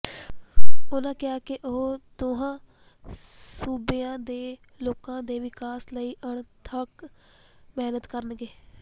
ਉਨ੍ਹਾਂ ਕਿਹਾ ਕਿ ਉਹ ਦੋਹਾਂ ਸੂਬਿਆਂ ਦੇ ਲੋਕਾਂ ਦੇ ਵਿਕਾਸ ਲਈ ਅਣਥਕ ਮਿਹਨਤ ਕਰਨਗੇ